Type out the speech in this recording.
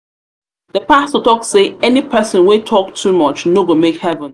pastor talk say any person wey talk too much no go make heaven